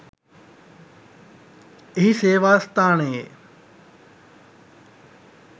එහි සේවා ස්ථානයේ